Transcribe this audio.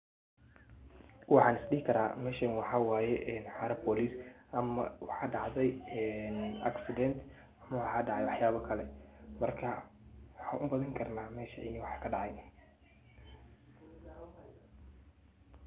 Waxan is dhihi karaa meshan waxawaye xara bolis ama waxa dhacday een accident ama waxa dhacay wax yabo kale marka waxan ubadin karna mesha in wax kadhacay